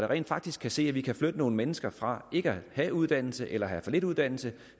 rent faktisk kan se at vi kan flytte nogle mennesker fra ikke at have uddannelse eller have for lidt uddannelse